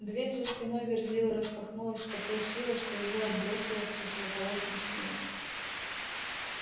дверь за спиной верзилы распахнулась с такой силой что его отбросило к противоположной стене